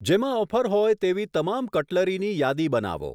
જેમાં ઓફર હોય તેવી તમામ કટલરીની યાદી બનાવો.